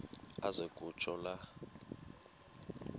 aze kutsho la